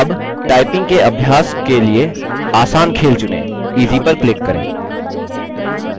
अब टाइपिंग के अभ्यास के लिए आसान खेल चुनें easy पर क्लिक करें